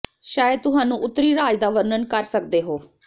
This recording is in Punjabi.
ਸ਼ਾਇਦ ਤੁਹਾਨੂੰ ਉੱਤਰੀ ਰਾਜ ਦਾ ਵਰਣਨ ਕਰ ਸਕਦੇ ਹੋ